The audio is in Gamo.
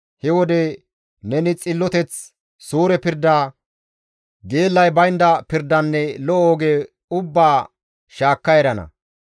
He wode neni xilloteth, suure pirda, geellay baynda pirdanne lo7o oge ubbaa shaakka erana.